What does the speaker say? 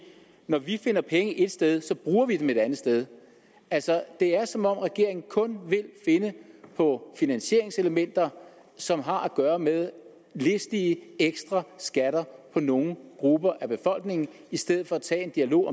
når vi finder penge et sted bruger vi dem et andet sted altså det er som om regeringen kun vil finde på finansieringselementer som har at gøre med listige ekstra skatter på nogle grupper af befolkningen i stedet for at tage en dialog